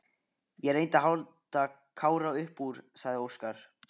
Ég reyndi að halda Kára upp úr, sagði Óskar.